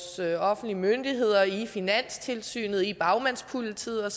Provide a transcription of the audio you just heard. offentlige myndigheder i finanstilsynet hos bagmandspolitiet